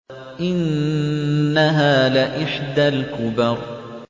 إِنَّهَا لَإِحْدَى الْكُبَرِ